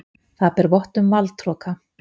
Það ber vott um valdhroka.